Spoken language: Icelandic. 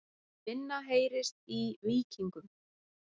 Minna heyrist í Víkingum